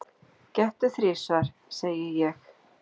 Gettu þrisvar, segi ég.